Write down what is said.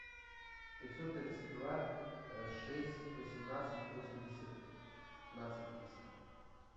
пятьсот тридцать два шесть восемнадцать восемьдесят пятнадцать триста